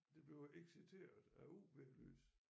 Det bliver exciteret af UV-lys